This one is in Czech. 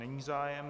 Není zájem.